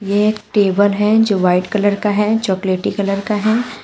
ये एक टेबल है जो व्हाइट कलर का है चॉकलेटी कलर का है।